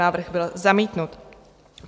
Návrh byl zamítnut.